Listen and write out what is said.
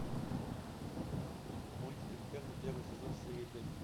мультик интерны первый сезон серия пять